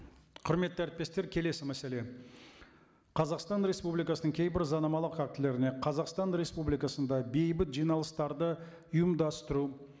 құрметті әріптестер келесі мәселе қазақстан республикасының кейбір заңнамалық актілеріне қазақстан республикасында бейбіт жиналыстарды ұйымдастыру